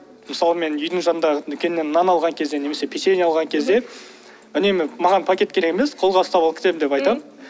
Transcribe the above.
мысалы мен үйдің жанындағы дүкеннен нан алған кезде немесе печенье алған кезде үнемі маған пакет керек емес қолға ұстап алып кетемін деп айтамын